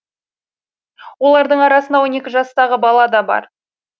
олардың арасында он екі жастағы бала да бар